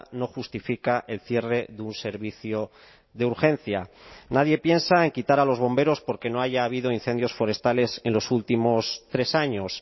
no justifica el cierre de un servicio de urgencia nadie piensa en quitar a los bomberos porque no haya habido incendios forestales en los últimos tres años